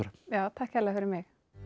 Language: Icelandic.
takk kærlega fyrir mig